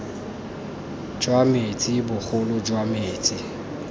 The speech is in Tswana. jwa metsi bogolo jwa metsi